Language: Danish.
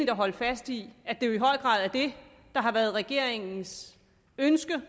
at holde fast i at det der har været regeringens ønske jo